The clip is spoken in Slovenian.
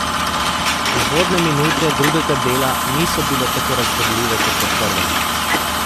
Uvodne minute drugega dela niso bile tako razburljive kot v prvem.